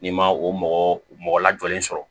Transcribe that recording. N'i ma o mɔgɔ mɔgɔ lajɔlen sɔrɔ